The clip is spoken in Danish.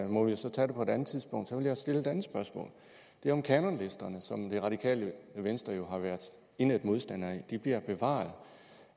må vi jo så tage det på et andet tidspunkt jeg stille et andet spørgsmål det er om kanonlisterne som det radikale venstre jo har været indædt modstandere af de bliver bevaret